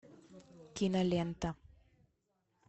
кинолента